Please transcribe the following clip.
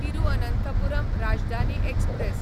Thiruvananthapuram Rajdhani express